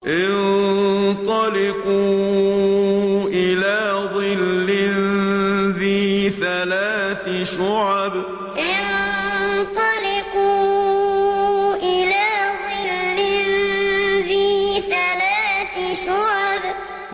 انطَلِقُوا إِلَىٰ ظِلٍّ ذِي ثَلَاثِ شُعَبٍ انطَلِقُوا إِلَىٰ ظِلٍّ ذِي ثَلَاثِ شُعَبٍ